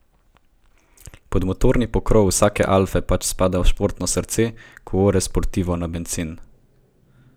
Pod motorni pokrov vsake alfe pač spada športno srce, cuore sportivo na bencin.